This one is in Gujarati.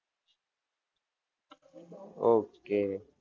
ઓકે